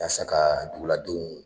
Yasa ka duguladenw